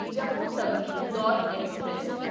Jammu Tawi Indore express